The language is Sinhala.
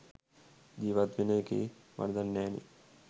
ජීවත් වෙන එකේ වරදක් නෑනෙ